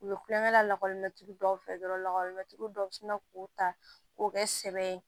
U bɛ kulonkɛ la lakɔlimɛturu dɔw fɛ dɔrɔn lakɔlimɛtiri dɔw bɛ sina k'u ta k'o kɛ sɛbɛ ye